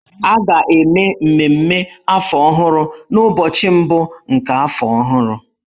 A ga-eme mmemme afọ ọhụrụ n'ụbọchị mbụ nke afọ ọhụrụ.